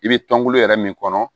I bɛ tɔnkolo yɛrɛ min kɔnɔ